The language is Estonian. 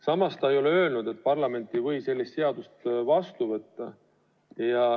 Samas ta ei ole öelnud, et parlament ei või sellist seadust vastu võtta.